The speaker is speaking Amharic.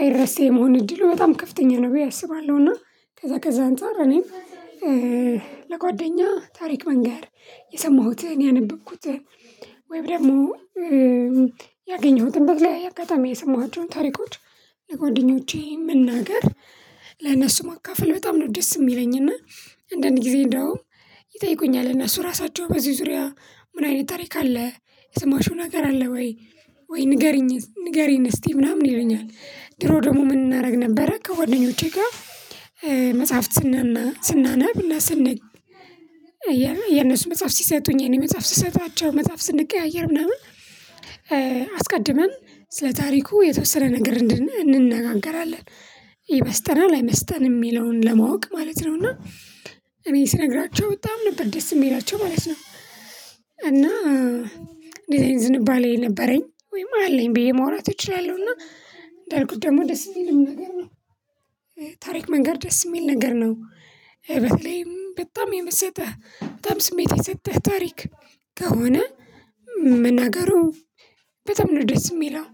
አይረሴ የመሆን እድሉ በጣም ከፍተኛ ነበር ያሰባለሁና ከዛ፣ ከዛ አንፃር እኔም ለጓደኛ ታሪክ መንገር፤ የሰማሁትን፣ ያነበብኩትን፣ ወይም ደግሞ ያገኘሁትን በተለያየ አጋጣሚ የሰማኋቸውን ታሪኮች ለጓደኞቼ መናገር ለእነሱ ማካፈል በጣም ነው ደስ የሚለኝ። እና አንዳንድ ጊዜ እንደው ይጠይቁኛል፣ እነሱ ራሳቸው በዚህ ዙሪያ ምን አይነት ታሪክ አለ? የሰማሽውን ሀገር አለ ወይ? ወይ ንገሪኝ፣ ንገሪኝ እስቲ ምናምን ይለኛል። ድሮ ደግሞ ምን እናደርግ ነበረ? ከጓደኞቼ ጋር መጽሐፍት ስናናብና ስንኝ፤ የእነሱ መጽሐፍ ሲሰጡኝ፣ የኔ መጽሐፍ ስሰጣቸው፣ መጽሐፍ ስንቀያየር ምናምን አስቀድመን ስለ ታሪኩ የተወሰነ ነገር እንነጋገራለን። ይመስጠናል። አይመስጠንም? የሚለውን ለማወቅ ማለት ነው እና እኔ ስነግራችሁ በጣም ነበር ደስ የምሄዳቸው ማለት ነው። እና እንደዚህ ዝንባሌ ነበረኝ ወይም አለኝ ብዬ ማውራት እችላለሁ። እና እንዳልኩት ደግሞ ደስ ይልም ነገር ነው። ታሪክ መንገር ደስ የሚል ነገር ነው። በተለይም በጣም የመሰጠህ፣ በጣም ስሜት የሰጠህ ታሪክ ከሆነ መናገሩ በጣም ነው ደስ የሚለው።